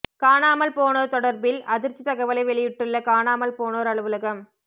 காணாமல் போனோர் தொடர்பில் அதிர்ச்சி தகவலை வெளியிட்டுள்ள காணாமல் போனோர் அலுலகம்